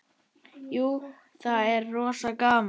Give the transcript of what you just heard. Jú, það er rosa gaman.